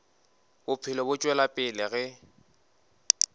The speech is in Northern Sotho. bophelo bo tšwela pele ge